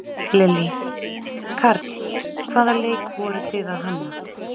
Lillý: Karl, hvaða leik voruð þið að hanna?